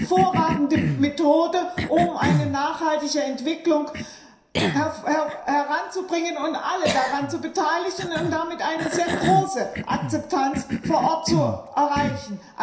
Dies ist eine hervorragende Methode, um eine nachhaltige Entwicklung voranzubringen und alle daran zu beteiligen, um damit eine sehr große Akzeptanz vor Ort zu erreichen.